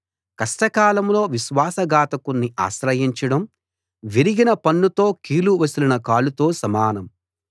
కష్టకాలంలో విశ్వాస ఘాతకుణ్ణి ఆశ్రయించడం విరిగిన పన్నుతో కీలు వసిలిన కాలుతో సమానం